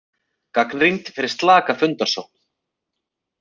Gagnrýnd fyrir slaka fundasókn